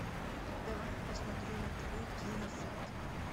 давай я посмотрю на тв киносад